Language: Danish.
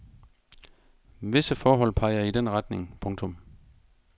Visse forhold peger i den retning. punktum